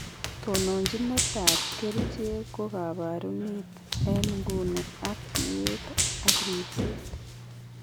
Tononjinet ab kerichek ko kabarunet en nguni ak tiet ak ribset